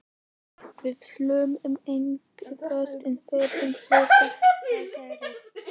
Við sláum engu föstu en furðulegri hlutir hafa gerst.